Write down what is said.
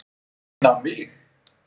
Inn á mig.